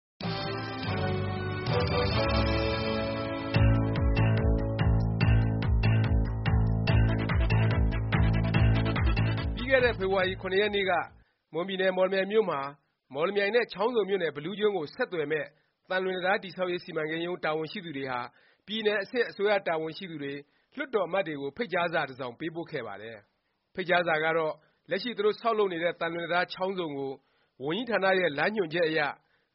ပြီးခဲ့တဲ့ ဖေဖေါ်ဝါရီလ ၇ ရက်နေ့က မွန်ပြည်နယ် မော်လမြိုင်မြို့မှာ မော်လမြိုင် နဲ့ ချောင်းဆုံမြို့နယ် ဘီလူးကျွန်း ကို ဆက်သွယ်မယ့် သံလွင်တံတား တည်ဆောက်ရေး စီမံကိန်းရုံး တာဝန်ရှိသူတွေဟာ ပြည်နယ်အဆင့် အစိုးရတာဝန်ရှိသူတွေ၊ လွှတ်တော် အမတ်တွေကို ဖိတ်ကြားစာ တစ်စောင် ပေးပို့ခဲ့ပါတယ်။ ဖိတ်ကြားစာကတော့ လက်ရှိ သူတို့ ဆောက်လုပ်နေတဲ့ သံလွင်တံတား (ချောင်းဆုံ) ကို ဝန်ကြီးဌာနရဲ့ လမ်းညွှန်ချက်အရ